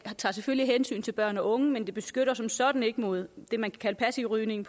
selvfølgelig tager hensyn til børn og unge man det beskytter som sådan ikke mod det man kan kalde passiv rygning